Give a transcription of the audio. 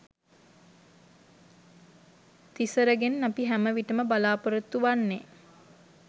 තිසරගෙන් අපි හැම විටම බලාපොරොත්තු වෙන්නෙ